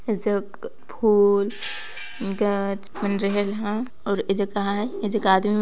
ए जग फुल गच मन रहेल एहा और कहा है आदमी मन--